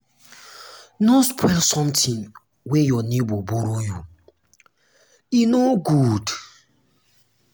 no spoil sometin wey your nebor borrow you e no good.